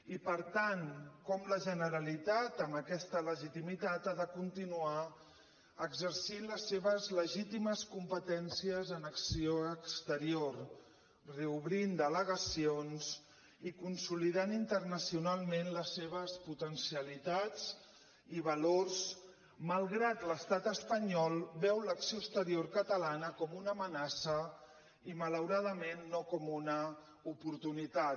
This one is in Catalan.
i per tant com la generalitat amb aquesta legitimitat ha de continuar exercint les seves legítimes competències en acció exterior reobrint delegacions i consolidant internacionalment les seves potencialitats i valors malgrat que l’estat espanyol veu l’acció exterior catalana com una amenaça i malauradament no com una oportunitat